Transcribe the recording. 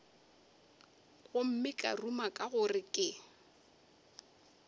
gomme ka ruma gore ke